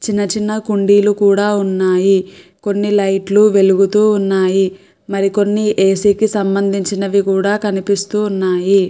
చిన్న చిన్న కుండీలు కూడా ఉన్నాయి. కొన్ని లైట్ లు వెలుగుతూ ఉన్నాయి. మరికొన్ని ఏ_సీ కి సంబంధించినవి కూడా కనిపిస్తూ ఉన్నాయి.